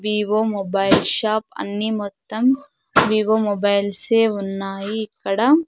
Vivo mobile shop అన్నీ మొత్తం Vivo mobiles ఏ ఉన్నాయి ఇక్కడ.